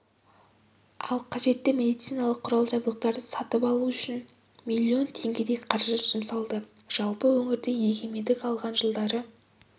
ал қажетті медициналық құрал-жабдықтарды сатып алу үшін миллион теңгедей қаражат жұмсалды жалпы өңірде егемендік алған жылдары